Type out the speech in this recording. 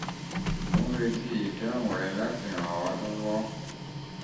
mò ń retí ìdáhùn rẹ láti lè ràn ràn ọ́ lọ́wọ́